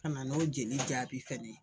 Ka na n'o jeli jaabi fɛnɛ ye